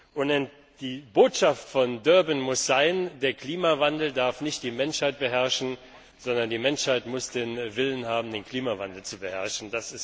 tun. Und die Botschaft von Durban muss sein Der Klimawandel darf nicht die Menschheit beherrschen, sondern die Menschheit muss den Willen haben, den Klimawandel zu beherrschen.